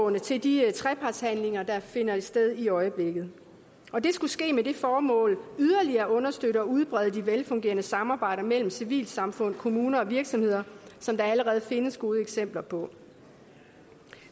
med til de trepartsforhandlinger der finder sted i øjeblikket og det skulle ske med det formål yderligere at understøtte og udbrede de velfungerende samarbejder mellem civilsamfund kommuner og virksomheder som der allerede findes gode eksempler på